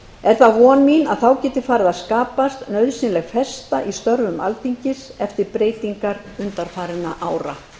er það von mín að þá geti farið að skapast nauðsynleg festa í störfum alþingis eftir breytingar undanfarinna ára